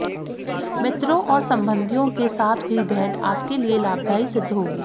मित्रों और संबंधियों के साथ हुई भेंट आपके लिए लाभदायी सिद्ध होगी